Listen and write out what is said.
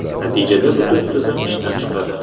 Natijada butun tizim izdan chiqadi.